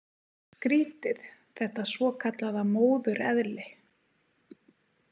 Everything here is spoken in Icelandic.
Skrítið þetta svokallaða móðureðli.